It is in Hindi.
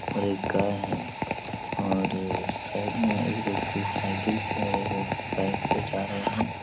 और एक गाय है और साइड मे एक व्यक्ति साइकिल से और एक व्यक्ति बाइक से जा रहे है ।